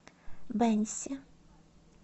бэньси